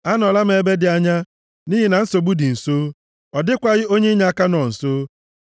Anọla m ebe dị anya, nʼihi na nsogbu dị nso. Ọ dịkwaghị onye inyeaka nọ nso.